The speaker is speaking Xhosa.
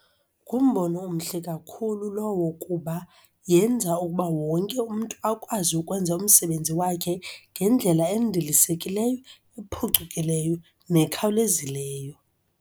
Ngumbono omhle kakhulu lowo kuba yenza ukuba wonke umntu akwazi ukwenza umsebenzi wakhe ngendlela endilisekileyo nephucukileyo nekhawulezileyo.